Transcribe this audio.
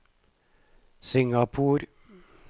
Singapore